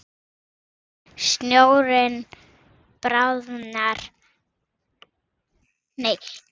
Ísinn bráðnar oft mjög hægt.